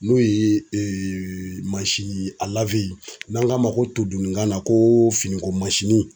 N'o ye n'an k'o ma todunkan na ko finiko mansinin.